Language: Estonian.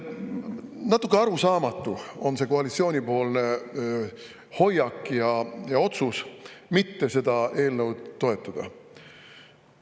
Natuke arusaamatu on see koalitsiooni hoiak ja otsus mitte seda eelnõu toetada.